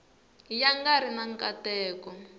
ya nga ri na nkateko